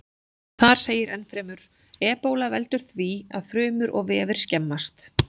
Þar segir ennfremur: Ebóla veldur því að frumur og vefir skemmast.